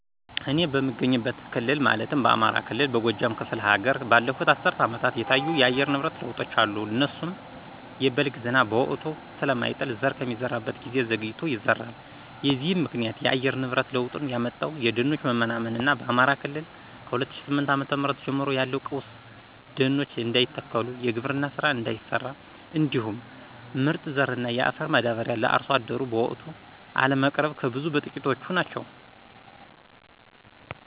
እኔ በምገኝበት ክልል ማለትም በአማራ ክልል በጎጃም ክፍለ ሀገር ባለፉት አስርት አመታት የታዩ የአየር ንብረት ለውጦች አሉ እነሱም:- የበልግ ዝናብ በወቅቱ ስለማይጥል ዘር ከሚዘራበት ጊዜ ዘግይቶ ይዘራል። የዚህም ምክንያት :- የአየር ንብረት ለውጡን ያመጣው የደኖች መመናመን እና በአማራ ክልል ከ2008ዓ.ም ጀምሮ ያለው ቀውስ ደኖች እንዳይተከሉ, የግብርና ስራ እንዳይሰራ, እንዲሁም ምርጥ ዘር እና የአፈር ማዳበሪያ ለአርሶ አደሩ በወቅቱ አለመቅረብ ከብዙ በትቂቶቹ ናቸው።